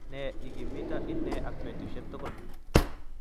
Ne igimita inne ak betushek tugul